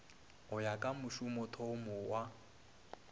go ya ka mošomothomo wa